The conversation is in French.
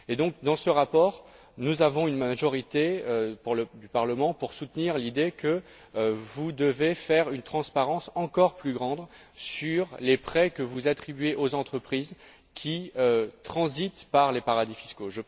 Donc, dans ce rapport, nous avons une majorité du Parlement pour soutenir l'idée que vous devez garantir une transparence encore plus grande sur les prêts que vous attribuez aux entreprises, qui transitent par les paradis fiscaux.